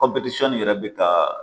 yɛrɛ bɛ Ka.